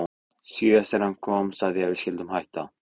Síðast þegar hann kom sagði ég að við skyldum hætta.